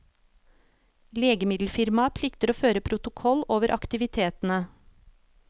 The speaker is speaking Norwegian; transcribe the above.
Legemiddelfirmaet plikter å føre protokoll over aktivitetene.